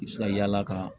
I bɛ se ka yala ka